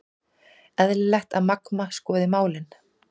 Eðlilegt að Magma skoði málin